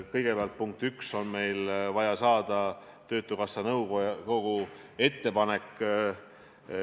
Kõigepealt on meil vaja saada töötukassa nõukogu ettepanek.